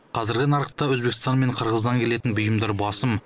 қазіргі нарықта өзбекстан мен қырғыздан келетін бұйымдар басым